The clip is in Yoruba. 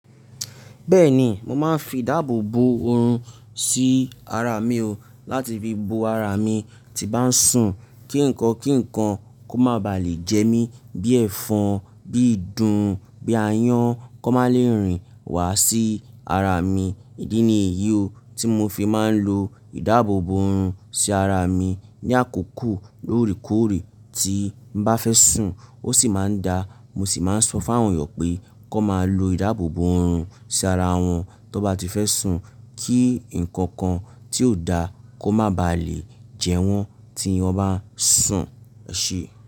Bẹ́ẹ̀ni, mo máa ń fi ìdáàbòbò ọrun sí ara mi o láti fi bo ara mi tí bá ń sùn kí nǹkan kí nǹkan kó má ba à lè jẹ mí. Bí ẹ́fọn, bí ìdun, bí ayán kó má lè rìn wá sí ara mi. Ìdí ni èyí o tí mo fi máa ń lo ìdáàbòbò ọrun sí ara mi ní àkókò lóòrèkóòrè tí n bá fẹ́ sùn. Ó sì máa ń da, mo sì máa ń sọ fún àwọn èèyàn pé kó má lo ìdáàbòbò ọrun sí ara wọn tó bá ti fẹ́ sùn kí nǹkan kan tí ò da kó má ba à lè jẹ wọ́n tí wọ́n bá ń sùn, ẹ̀ṣé.